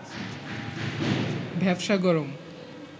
ভ্যাপসা গরম